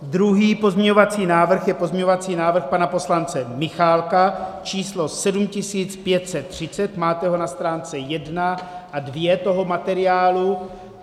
Druhý pozměňovací návrh je pozměňovací návrh pana poslance Michálka číslo 7530, máte ho na stránce 1 a 2 toho materiálu.